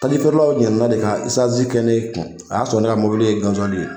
Tajifeerelaw ɲina na ka de kaziwali kɛ ne kun a y'a ne ka mobili ye gasiwali ye.